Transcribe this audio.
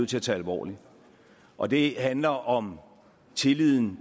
til at tage alvorligt og det handler om tilliden